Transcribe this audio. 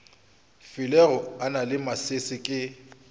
filego na le masese ke